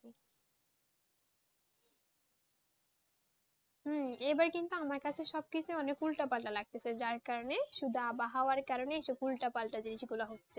হম এবার কিন্তু আমার কাছে সবকিছু উলট পালট লাগতেছে যার কারণে শুধু আবহাওয়াটা কারণে শুধু উল্টোপাল্টা জিনিসগুলো হচ্ছে,